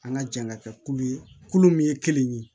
An ka jan ka kɛ kulu ye kulu min ye kelen ye